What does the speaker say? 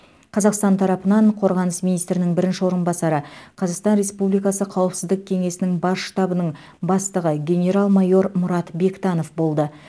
қазақстан тарапынан қорғаныс министрінің бірінші орынбасары қазақстан республикасы қауіпсіздік кенесінің бас штабының бастығы генерал майор мұрат бектанов болды